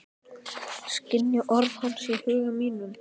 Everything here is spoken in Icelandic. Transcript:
Skynji orð hans í huga mínum.